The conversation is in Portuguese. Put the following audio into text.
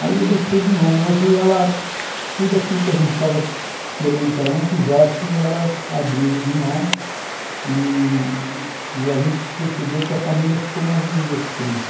Aí eu deixei de mão e hoje ela, tudo aquilo que a gente estava querendo que ela não fizesse, ela abriu de mão e e a gente percebeu que a família ficou mais unida por isso.